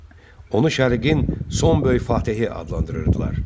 Onu şərqin son böyük Fatehi adlandırırdılar.